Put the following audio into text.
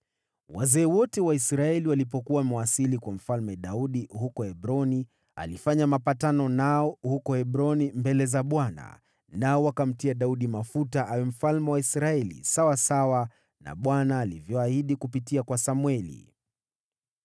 Wazee wote wa Israeli walipokuwa wamewasili kwa Mfalme Daudi huko Hebroni, alifanya mapatano nao huko Hebroni mbele za Bwana , nao wakamtia Daudi mafuta awe mfalme wa Israeli, sawasawa na Bwana alivyoahidi kupitia kwa Samweli.